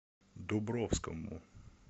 дубровскому